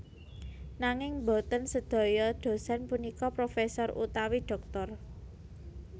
Nanging boten sedaya dhosèn punika profesor utawi dhoktor